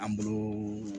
An bolo